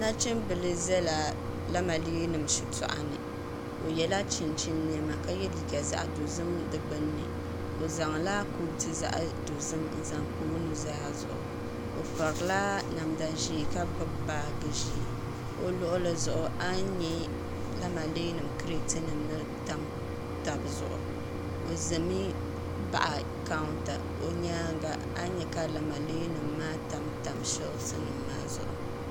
Nachim bila zala lamalee shitɔɣu ni o yiɛla chinchini nɛma ka yiɛ liiga zaɣi dozim niŋ di gbunini o zaŋla kootu zaɣi dozim n zaŋ pa o nuu zaa zuɣu o piila namda zɛɛ ka gbubi baaji zɛɛ o luɣili zuɣu a ni nya lamalee nim kriti nim ni tam taba zuɣu o zami baɣi kawunta o yɛanga ani yɛ ka lamalee nima maa tam shɛlisi nima maa zuɣu.